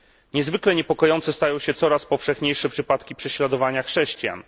Niezwykle niepokojące stają się coraz powszechniejsze przypadki prześladowania chrześcijan.